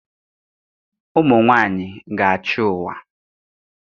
Ụmụ nwanyị ga-achị ụwa